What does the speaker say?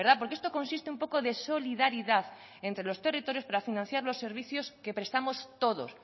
porque esto consiste un poco de solidaridad entre los territorios para financiar los servicios que prestamos todos